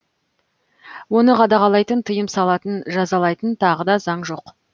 оны қадағалайтын тыйым салатын жазалайтын тағы да заң жоқ